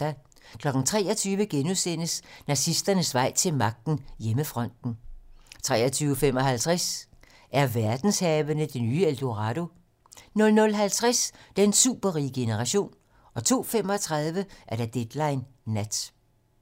23:00: Nazisternes vej til magten: Hjemmefronten * 23:55: Er verdenshavene det nye El Dorado? 00:50: Den superrige generation 02:35: Deadline nat